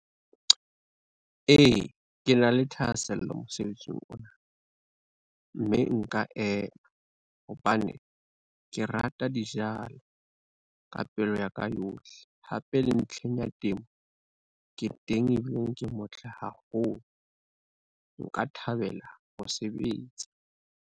E, ke na le thahasello mosebetsing ona, mme nka ema hobane ke rata dijalo ka pelo ya ka yohle. Hape le ntlheng ya temo ke teng, ebile ke motle haholo nka thabela ho sebetsa.